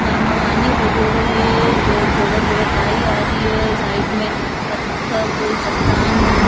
जामा पानी भरयोडो है जो थोड़ो थोड़ो काई आ री है साइड में पत्थर चट्टान --